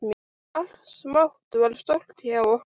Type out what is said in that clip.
Allt smátt varð stórt hjá okkur.